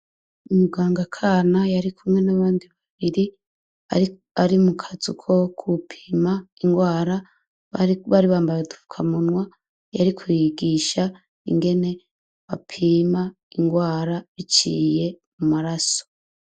Umuganga kana yarikumwe n' abandi babiri ari mukazu ko gupima ingwara bari bambaye udufakamunwa yariko yigisha ingene bapima ingwara biciye mumaraso.